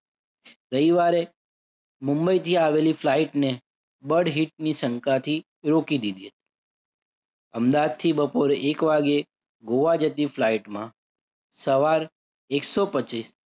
રવિવારે મુંબઈથી આવેલી flight ને ની શંકાથી રોકી દીધી હતી. અમદાવાદથી બપોરે એક વાગે ગોઆ જતી flight માં સવાર એક સો પચીસ